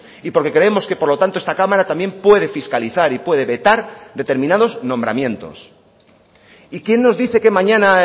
y porque creemos que por lo tanto esta cámara también puede fiscalizar y puede vetar determinados nombramientos y quién nos dice que mañana